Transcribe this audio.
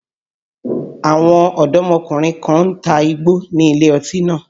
Àwọn ọ̀dọ́mọkùnrin kan ń ta igbó nílé ọtí náà